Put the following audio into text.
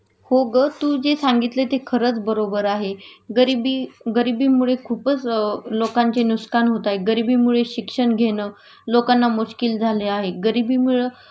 हो ग तू जे सांगितलं ते खरंच बरोबर आहे गरिबी गरिबीमुळे खूपच लोकांचे नुस्कान होत आहे.गरिबीमुळे शिक्षण घेणं लोकांना मुश्किल झाले आहे.गरिबीमुळं